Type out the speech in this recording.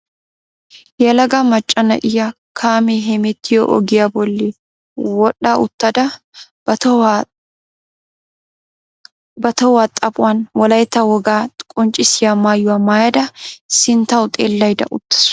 Yelaga macca na'iyaa kaamee hemettiyoo ogiyaa bolli wodha uttada ba tohuwaa xaaphphuwaan wolaytta wogaa qonccisiyaa maayuwaa maayada sinttawu xeellayda uttaasu.